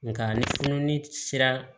Nka ni fununi sera